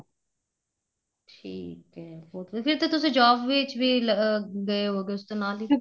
ਠੀਕ ਏ ਫੇਰ ਤੁਸੀਂ job ਵਿੱਚ ਵੀ ਗਏ ਹੋਵੋ ਗਏ ਉਸ ਤੋਂ ਨਾਲ ਹੀ